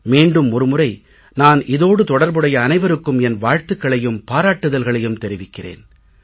மீண்டும் ஒரு முறை நான் இதோடு தொடர்புடைய அனைவருக்கும் என் வாழ்த்துக்களையும் பாராட்டுதல்களையும் தெரிவிக்கிறேன்